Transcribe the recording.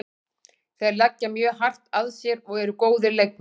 Þeir leggja mjög hart að sér og eru góðir leikmenn.